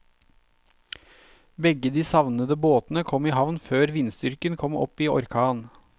Begge de savnede båtene kom i havn før vindstyrken kom opp i orkan.